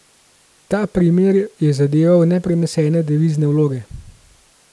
Ta primer je zadeval neprenesene devizne vloge.